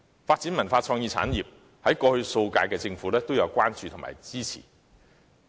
至於文化創意產業的發展方面，過去數屆政府也曾給予關注和支持。